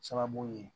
Sababu ye